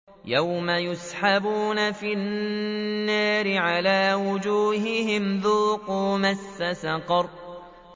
يَوْمَ يُسْحَبُونَ فِي النَّارِ عَلَىٰ وُجُوهِهِمْ ذُوقُوا مَسَّ سَقَرَ